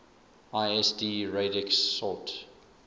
lsd radix sort